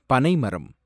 பனைமரம்